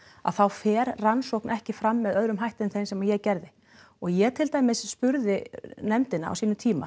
þá fer rannsókn ekki fram með öðrum hætti en þeim sem ég gerði og ég til dæmis spurði nefndina á sínum tíma